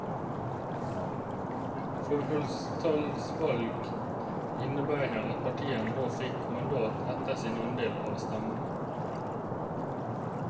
Forholdstallsvalg innebar at partiene nå fikk mandat etter sin andel av stemmene.